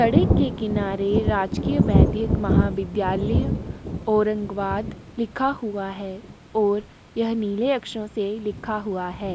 सडक के किनारे राजकीय बेधिक महाविद्यालय औरंगाबाद लिखा हुआ है और यह नीले अक्षरो से लिखा हुआ है।